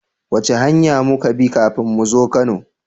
Wace hanya muka bi kafin muzo kano?